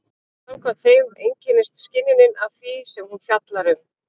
Samkvæmt þeim einkennist skynjunin af því sem hún fjallar um.